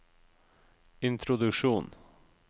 introduksjon